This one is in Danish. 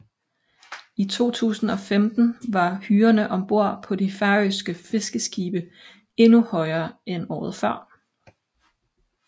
I 2015 var hyrerne ombord på de færøske fiskeskibe endnu højere end året før